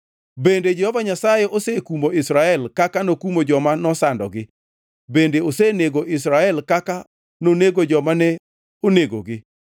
Bende Jehova Nyasaye osekumo Israel kaka nokumo joma nosandogi? Bende osenego Israel kaka nonego joma ne onegogi?